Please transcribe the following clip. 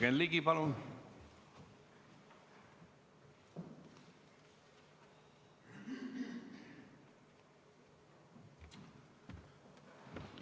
Jürgen Ligi, palun!